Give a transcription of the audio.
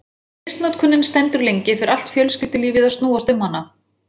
Ef misnotkunin stendur lengi fer allt fjölskyldulífið að snúast um hana.